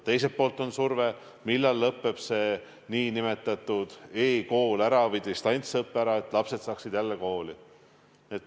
Teiselt poolt on surve, millal lõpeb ära nn e-kool või distantsõpe, et lapsed saaksid jälle kooli.